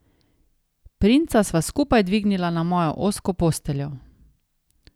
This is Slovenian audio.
Princa sva skupaj dvignila na mojo ozko posteljo.